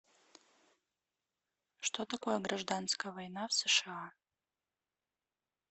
что такое гражданская война в сша